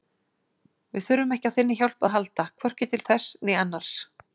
Við þurfum ekki á þinni hjálp að halda, hvorki til þess né annars